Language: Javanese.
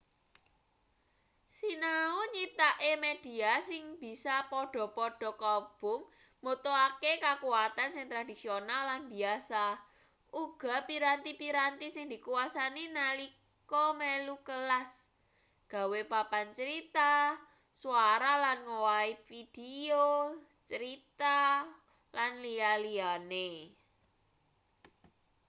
sinau nyiptakke media sing bisa padha-padha kaubung mbutuhake kakuwatan sing tradisional lan biyasa uga piranti-piranti sing dikuwasani nalika melu kelas gawe papan crita swara lan ngowahi pideo crita lan liya-liyane.